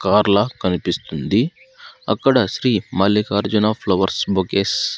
car లా కనిపిస్తుంది అక్కడ శ్రీ మల్లికార్జున ఫ్లవర్స్ బొకేస్ --